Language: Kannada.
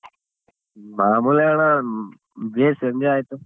ಮಾಮೂಲಿ ಅಣ್ಣ ಭೇಷ್ enjoy ಆಯ್ತು.